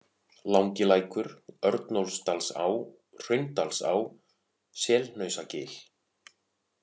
Langilækur, Örnólfsdalsá, Hraundalsá, Selhnausagil